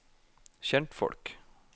kjentfolk